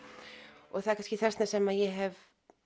og það er kannski þess vegna sem ég hef